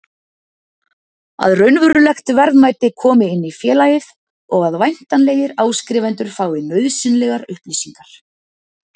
að raunverulegt verðmæti komi inn í félagið og að væntanlegir áskrifendur fái nauðsynlegar upplýsingar.